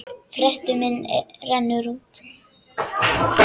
Frestur minn rennur út.